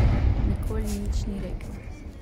Nikoli nič ni rekel.